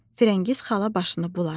Firəngiz xala başını buladı.